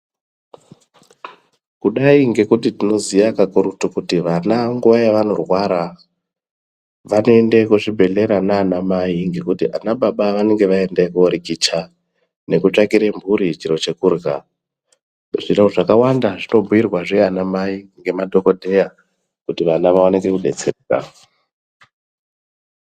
Kudai ngekuti tinoziya kakurutu kuti vana nguwa yavanorwara vanoenda kuzvibhedhlera nana mai ngekuti ana baba vanenge vaenda koorikicha nekoosvakire mhuri chekurhya zviro zvakawanda zvinobhuirwazve ana Mai kuti vana vaone kudetsereka.